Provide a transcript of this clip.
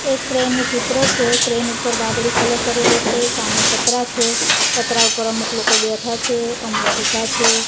એક ક્રેન નું ચિત્ર છે ક્રેન ઉપર વાદળી કલર કરેલો છે સામે પત્રા છે પત્રા ઉપર અમુક લોકો બેઠા છે અમુક ઉભા છે.